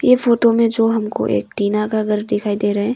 ये फोटो में जो हमको एक टिना का घर दिखाई दे रहा है।